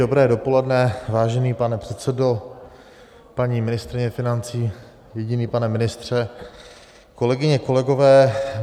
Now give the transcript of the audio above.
Dobré dopoledne, vážený pane předsedo, paní ministryně financí, jediný pane ministře, kolegyně, kolegové.